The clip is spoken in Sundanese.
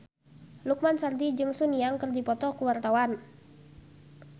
Lukman Sardi jeung Sun Yang keur dipoto ku wartawan